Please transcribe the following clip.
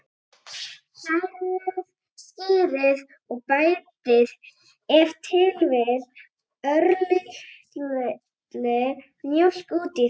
Hrærið skyrið og bætið ef til vill örlítilli mjólk út í það.